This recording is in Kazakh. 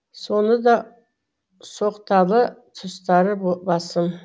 соны да соқталы тұстары басым